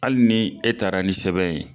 Hali ni e taara ni sɛbɛn ye.